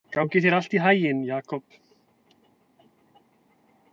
Gangi þér allt í haginn, Jakob.